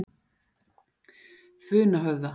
Funahöfða